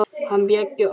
Hann Bjöggi okkar.